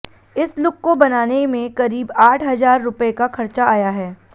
इस लुक को बनाने में करीब आठ हजार रूपये का खर्चा आया है